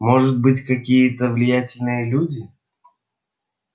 может быть какие-то влиятельные люди